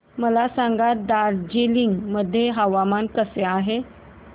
मला सांगा दार्जिलिंग मध्ये हवामान कसे आहे